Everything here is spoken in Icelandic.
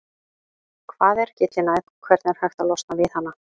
Hvað er gyllinæð og hvernig er hægt að losna við hana?